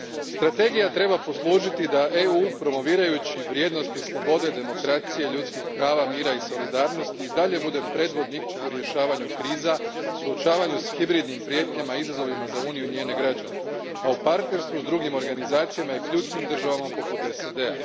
Strategija treba poslužiti da EU promovirajući vrijednosti slobode, demokracije, ljudskih prava, mira i solidarnosti i dalje bude predvodnik u rješavanju kriza, suočavanju s hibridnim prijetnjama i izazovima za Uniju i njene građane, a u partnerstvu s drugim organizacijama i ključnim državama poput SAD a.